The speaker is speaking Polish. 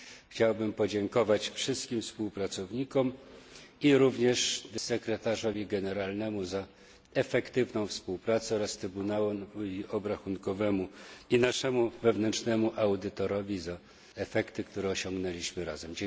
Chciałbym podziękować wszystkim współpracownikom i również sekretarzowi generalnemu za efektywną współpracę oraz Trybunałowi Obrachunkowemu i naszemu wewnętrznemu audytorowi za efekty, które osiągnęliśmy razem.